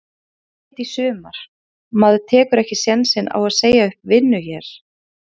Ég flyt í sumar, maður tekur ekki sénsinn á að segja upp vinnu hér.